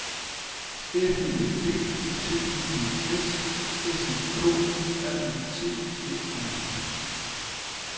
F U L D T I D S S E K R E T Æ R